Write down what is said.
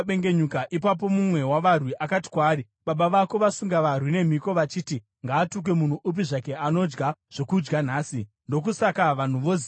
Ipapo mumwe wavarwi akati kwaari, “Baba vako vasunga varwi nemhiko vachiti, ‘Ngaatukwe munhu upi zvake anodya zvokudya nhasi!’ Ndokusaka vanhu voziya.”